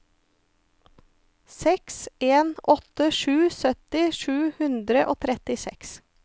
seks en åtte sju sytti sju hundre og trettiseks